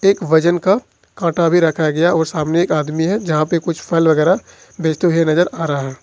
एक वजन का कांटा भी रखा गया और सामने एक आदमी है जहां पर कुछ फल वगैरा बेचते हुए नजर आ रहा है।